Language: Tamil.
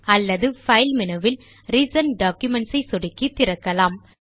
அல்லது பைல் மெனுவில் ரிசென்ட் டாக்குமென்ட்ஸ் ஐ சொடுக்கி திறக்கலாம்